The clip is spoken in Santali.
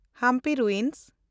ᱦᱟᱢᱯᱤ ᱨᱩᱭᱤᱱᱥ